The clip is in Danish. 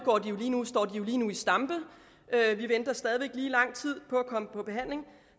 står de jo lige nu i stampe vi venter stadig væk lige lang tid på at komme i behandling